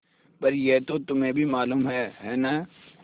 पर यह तो तुम्हें भी मालूम है है न